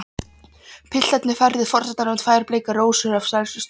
Piltarnir færðu forsetanum tvær bleikar rósir af stærstu sort.